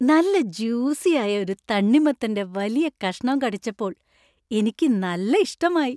നല്ല ജ്യൂസി ആയ ഒരു തണ്ണിമത്തന്‍റെ വലിയ കഷ്ണം കടിച്ചപ്പോൾ എനിക്ക് നല്ല ഇഷ്ടമായി.